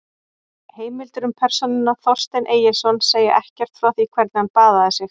Heimildir um persónuna Þorstein Egilsson segja ekkert frá því hvernig hann baðaði sig.